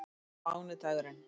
mánudagurinn